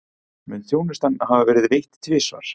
Mun þjónustan hafa verið veitt tvisvar